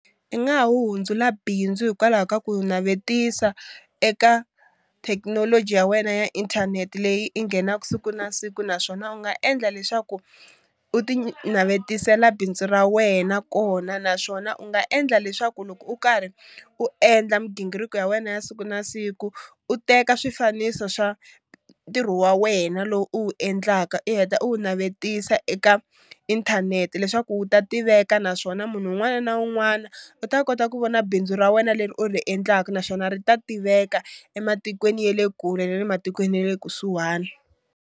I nga ha wu hundzula bindzu hikwalaho ka ku navetisa eka thekinoloji ya wena ya inthanete leyi i nghenaka siku na siku, naswona u nga endla leswaku u ti navetisela bindzu ra wena kona naswona u nga endla leswaku loko u karhi u endla migingiriko ya wena ya siku na siku u teka swifaniso swa ntirho wa wena lowu u wu endlaka i heta i wu navetisa eka inthanete leswaku wu ta tiveka naswona munhu un'wana na un'wana u ta kota ku vona bindzu ra wena leri u ri endlaka naswona ri ta tiveka ematikweni ya le kule ne le matikweni ya le kusuwhani.